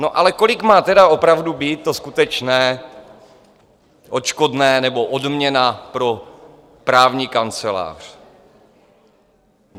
No, ale kolik má tedy opravdu být to skutečné odškodné nebo odměna pro právní kancelář?